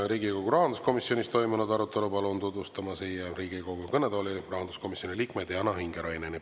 Riigikogu rahanduskomisjonis toimunud arutelu palun tutvustama siia Riigikogu kõnetooli rahanduskomisjoni liikme Diana Ingeraineni.